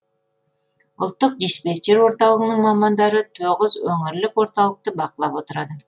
ұлттық диспетчер орталығының мамандары тоғыз өңірлік орталықты бақылап отырады